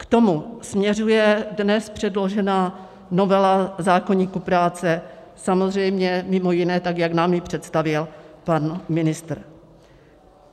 K tomu směřuje dnes předložená novela zákoníku práce, samozřejmě mimo jiné tak, jak nám ji představil pan ministr.